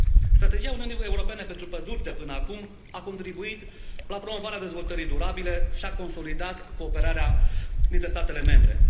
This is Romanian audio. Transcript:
Strategia Uniunii Europene pentru păduri de până acum a contribuit la promovarea dezvoltării durabile și a consolidat cooperarea dintre statele membre.